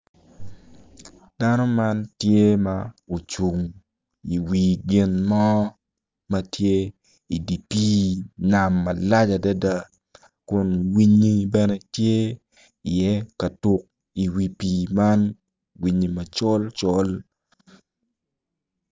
Dano ma tye i wi gin mo tye i di pii nam malac adida kun winyi bene tye i iye ka tuk i wi pii man winyi macol col